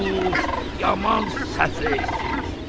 Of, yaman səfehsiniz!